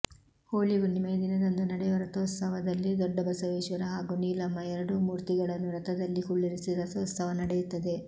ಹೋಳಿ ಹುಣ್ಣಿಮೆಯ ದಿನದಂದು ನಡೆಯುವ ರಥೋತ್ಸವ ದಲ್ಲಿ ದೊಡ್ಡಬಸವೇಶ್ವರ ಹಾಗೂ ನೀಲಮ್ಮ ಎರಡೂ ಮೂರ್ತಿಗಳನ್ನೂ ರಥದಲ್ಲಿ ಕುಳ್ಳಿರಿಸಿ ರಥೋತ್ಸವ ನಡೆಯುತ್ತದೆ